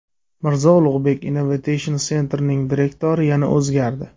Mirzo Ulugbek Innovation Center’ning direktori yana o‘zgardi.